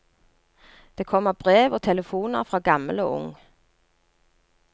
Det kommer brev og telefoner fra gammel og ung.